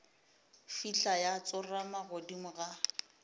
fihla ya tsorama godimo ga